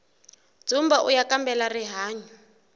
dzumba uya kambela rihanyu